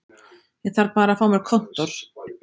Ég þarf bara að fá mér kontór